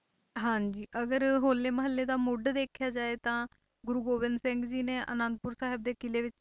ਹਾਂਜੀ ਅਗਰ ਹੋਲੇ ਮਹੱਲੇ ਦਾ ਮੁੱਢ ਦੇਖਿਆ ਜਾਏ ਤਾਂ ਗੁਰੂ ਗੋਬਿੰਦ ਸਿੰਘ ਜੀ ਨੇ ਆਨੰਦਪੁਰ ਸਾਹਿਬ ਦੇ ਕਿਲ੍ਹੇ ਵਿੱਚ